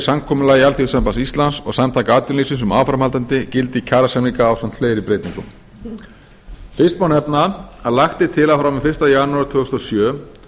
samkomulagi alþýðusambands íslands og samtaka atvinnulífsins um áframhaldandi gildi kjarasamninga ásamt fleiri breytingum fyrsta má nefna að lagt er til að frá og með fyrsta janúar tvö þúsund og sjö